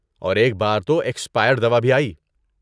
اور ایک بار تو ایکسپائرڈ دوا بھی آئی۔